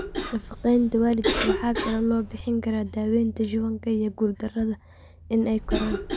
Nafaqaynta waalidka waxa kale oo loo bixin karaa daawaynta shubanka iyo guuldarada in ay koraan.